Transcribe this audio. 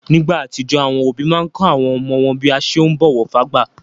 Nígbà àtijó, àwọn òbí máa n kọ́ àwọn ọmọ wọn bí a ṣe ún bọ̀wọ̀ fágbà.